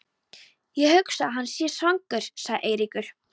Ég hugsa að hann sé svangur sagði Eiríkur.